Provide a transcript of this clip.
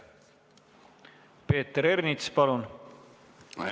Peeter Ernits, palun!